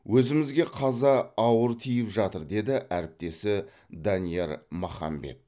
өзімізге қаза ауыр тиіп жатыр деді әріптесі данияр махамбет